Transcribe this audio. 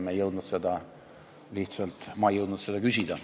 Ma ei jõudnud seda lihtsalt küsida.